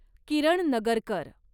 Kiran Nagarkar